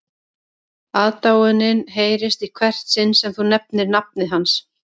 Aðdáunin heyrist í hvert sinn sem þú nefnir nafnið hans